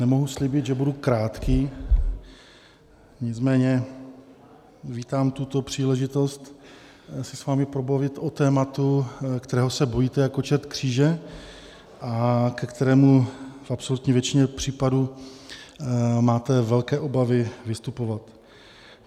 Nemohu slíbit, že budu krátký, nicméně vítám tuto příležitost se s vámi pobavit o tématu, kterého se bojíte jako čert kříže a ke kterému v absolutní většině případů máte velké obavy vystupovat.